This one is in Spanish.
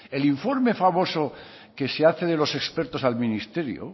el informe famoso que se hace de los expertos al ministerio